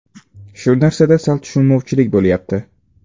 Shu narsada sal tushunmovchilik bo‘lyapti.